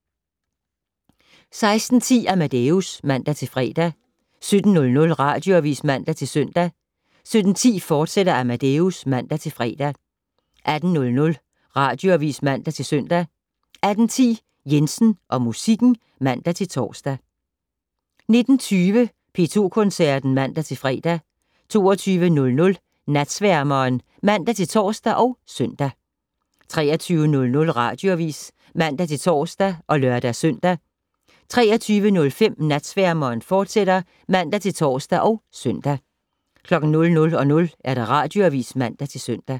16:10: Amadeus (man-fre) 17:00: Radioavis (man-søn) 17:10: Amadeus, fortsat (man-fre) 18:00: Radioavis (man-søn) 18:10: Jensen og musikken (man-tor) 19:20: P2 Koncerten (man-fre) 22:00: Natsværmeren (man-tor og -søn) 23:00: Radioavis (man-tor og lør-søn) 23:05: Natsværmeren, fortsat (man-tor og -søn) 00:00: Radioavis (man-søn)